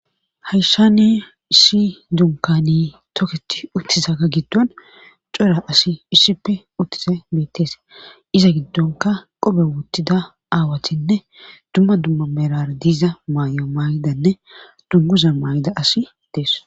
Hayssan i issi dunkane toketidaaga gidon cora asay issippe uttizi beetees. iza gidonkka qobe wottida aawatinne dumma dumma merara diza mayuwa mayizanne dungguza mayiza asi dees.